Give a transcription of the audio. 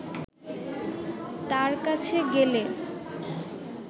তাঁর কাছে গেলে